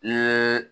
Ni